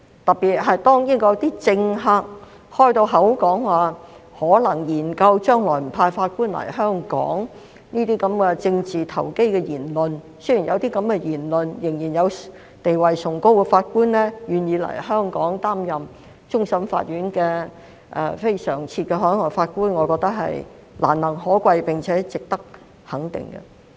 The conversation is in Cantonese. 特別是，當英國某些政客表明可能會研究將來不派法官來港這類政治投機的言論時，仍然有地位崇高的法官願意來港擔任終審法院非常任普通法法官，我覺得是難能可貴，並且值得肯定。